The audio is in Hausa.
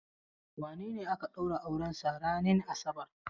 Wane ne aka ɗaura aurensa ranin asabar?